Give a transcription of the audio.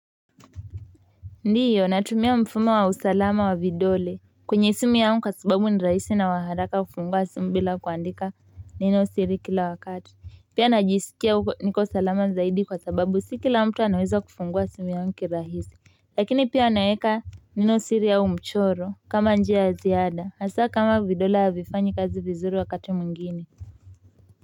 Ndiyo natumia mfumo wa usalama wa vidole kwenye simu yangu kwa sababu ni rahisi na waharaka kufungua simu bila kuandika neno siri kila wakati pia najisikia niko salama zaidi kwa sababu siki la mtu anaweza kufungua simu yangu kirahisi lakini pia naweka neno siri au mchoro kama njia ya ziada hasa kama vidole havifanyi kazi vizuri wakati mwingine.